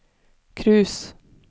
cruise